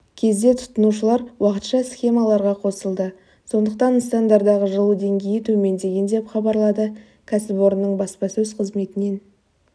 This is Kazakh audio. кезде тұтынушылар уақытша схемаларға қосылды сондықтан нысандардағы жылу деңгейі төмендеген деп хабарлады кәсіпорынның баспасөз қызметінен